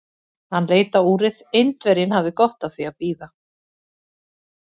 Hann leit á úrið: Indverjinn hafði gott af því að bíða.